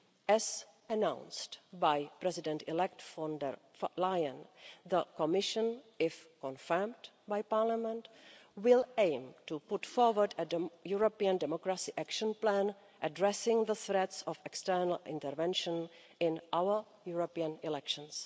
As announced by President-elect von der Leyen, the Commission if confirmed by Parliament will aim to put forward a European democracy action plan addressing the threats of external intervention in our European elections.